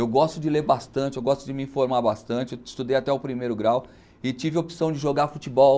Eu gosto de ler bastante, eu gosto de me informar bastante, eu estudei até o primeiro grau e tive a opção de jogar futebol,